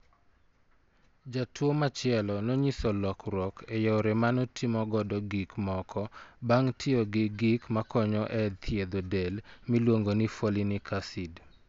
Jatuwo machielo nonyiso lokruok e yore ma notimogo gik moko bang ' tiyo gi gik makonyo e thiedho del miluongo ni folinic acid.